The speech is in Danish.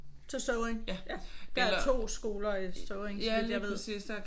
Så er det Støvring? Der er to skoler i Støvring så vidt jeg ved